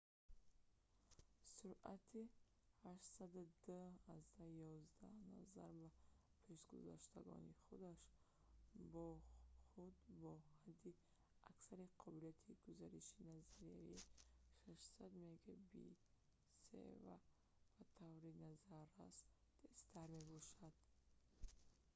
суръати 802.11n назар ба пешгузаштагони худ бо ҳадди аксари қобилияти гузариши назариявӣ 600 мбит/с ба таври назаррас тезтар мебошад